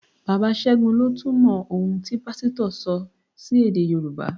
Bàbá ségun lọ túmọ̀ ohun tí Pásítọ̀ sọ sí èdè Yorùbá